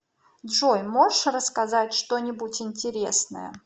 джой можешь рассказать что нибудь интересное